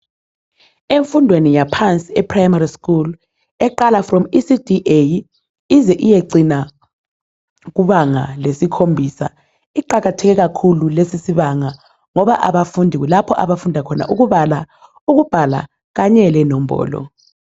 Emfundweni yaphansi ePrimary school eqala from ECD A ize iyecina kubanga lesikhombisa iqakatheke kakhulu lesisibanga ngoba kulapho abafundi abafunda khona ukubala, ukubhala kanye lenombolo